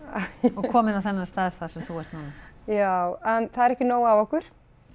og komin á þennan stað þar sem þú ert núna já það er ekki nóg af okkur